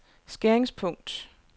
skæringspunkt